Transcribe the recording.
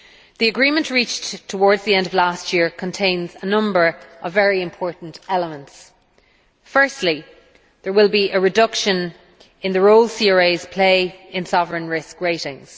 The agreement reached towards the end of last year contains a number of very important elements firstly, there will be a reduction in the role CRAs play in sovereign risk ratings.